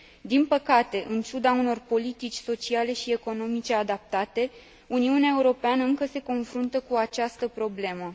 Din păcate, în ciuda unor politici sociale și economice adaptate, Uniunea Europeană încă se confruntă cu această problemă.